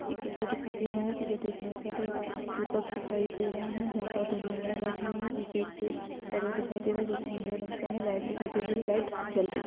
एक बच्चा दिखाई दे रहा है पीछे देखने पर दीपक दिखाई दे रहे है जहाँ पर दो महिलाएं बैठी हुई है पीछे एक दिखाई दे रहा है जो की नीले रंग का है लाइट दिखाई दे रही है लाइट जल रही --